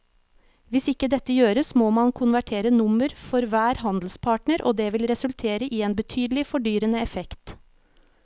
Hvis ikke dette gjøres må man konvertere nummer for hver handelspartner og det vil resultere i en betydelig fordyrende effekt.